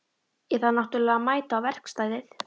Ég þarf náttúrlega að mæta á verkstæðið.